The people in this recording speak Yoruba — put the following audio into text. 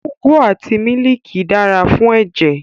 Ugwu àti mílìkì dára fún ẹ̀jẹ̀